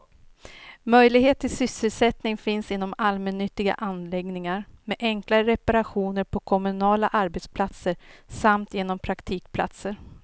Möjlighet till sysselsättning finns inom allmännyttiga anläggningar, med enklare reparationer på kommunala arbetsplatser samt genom praktikplatser.